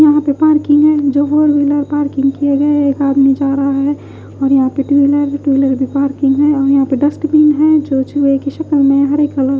यहाँ पर पार्किंग है जो फोर व्हीलर पार्किंग किए गए एक आदमी जा रहा है और यहाँ पर टू व्हीलर भी है टू व्हीलर पार्किंग है यहाँ पर डस्टबिन है जो चूहे की शक्ल में में है हरे कलर --